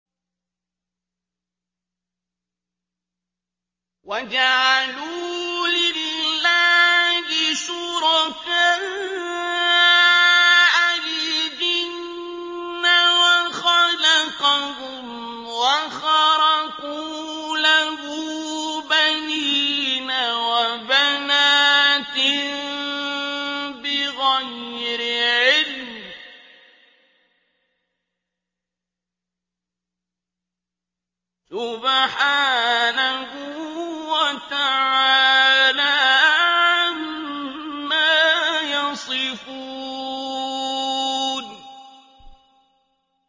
وَجَعَلُوا لِلَّهِ شُرَكَاءَ الْجِنَّ وَخَلَقَهُمْ ۖ وَخَرَقُوا لَهُ بَنِينَ وَبَنَاتٍ بِغَيْرِ عِلْمٍ ۚ سُبْحَانَهُ وَتَعَالَىٰ عَمَّا يَصِفُونَ